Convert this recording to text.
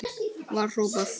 var hrópað.